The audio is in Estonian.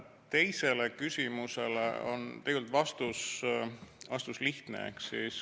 Teisele küsimusele on vastus lihtne.